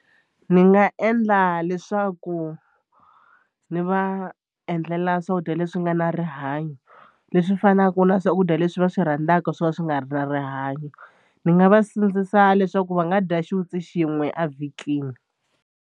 Ni nga endla leswaku ndzi va endlela swakudya leswi nga na rihanyo leswi fanaka na swakudya leswi va swi rhandzaka swo ka swi nga ri na rihanyo ni nga va sindzisa leswaku va nga dya xiwitsi xin'we a vhikini.